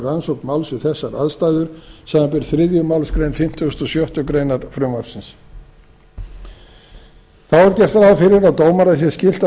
rannsókn máls við þessar aðstæður samanber þriðju málsgrein fimmtugustu og sjöttu greinar frumvarpsins þá er gert ráð fyrir að dómara sé skylt að